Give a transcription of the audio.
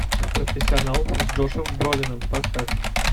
профессионал с джошем бролином поставь